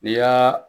N'i y'a